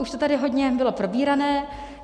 Už to tady hodně bylo probírané.